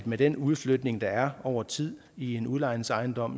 med den udflytning der er over tid i en udlejningsejendom